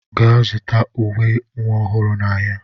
Gaa zụta uwe nwa ọhụrụ n'ahịa!